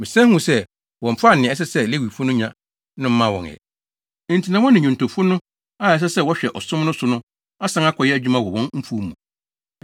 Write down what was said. Mesan huu sɛ wɔmfaa nea ɛsɛ sɛ Lewifo no nya no mmaa wɔn ɛ, enti na wɔne nnwontofo no a ɛsɛ sɛ wɔhwɛ ɔsom no so no asan akɔyɛ adwuma wɔ wɔn mfuw mu.